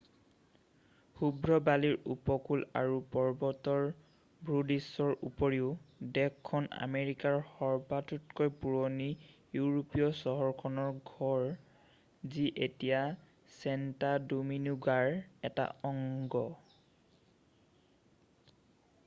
শুভ্ৰ বালিৰ উপকূল আৰু পৰ্বতৰ ভূদৃশ্যৰ উপৰিও দেশখন আমেৰিকাৰ সবাতোকৈ পুৰণি ইউৰোপীয় চহৰখনৰ ঘৰ যি এতিয়া ছেণ্টো ডোমিনিগোৰ এটা অংশ